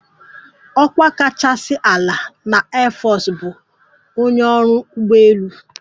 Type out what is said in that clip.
"Ọkwa kachasị ala na airforce bụ ""onye ọrụ ụgbọelu"""